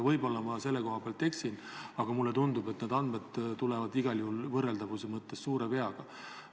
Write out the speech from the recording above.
Võib-olla ma eksin, aga mulle tundub, et need andmed tulevad võrreldavuse mõttes igal juhul suure veaga.